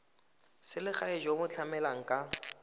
selegae jo bo tlamelang ka